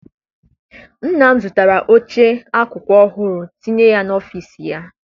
Nna m zụtara oche akụkụ ọhụụ tinye n'ọfịịsi ya.